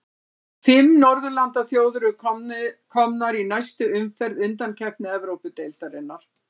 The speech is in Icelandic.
Fimm norðurlandaþjóðir eru komnar í næstu umferð undankeppni Evrópudeildarinnar.